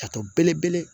Ka to belebele